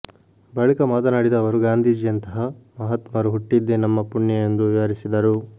ಬಳಿಕ ಮಾತನಾಡಿದ ಅವರು ಗಾಂಧೀಜಿಯಂತಹ ಮಹಾತ್ಮರು ಹುಟ್ಟಿದ್ದೇ ನಮ್ಮ ಪುಣ್ಯ ಎಂದು ವಿವರಿಸಿದರು